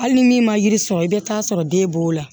Hali ni min ma yiri sɔrɔ i bɛ taa sɔrɔ den b'o la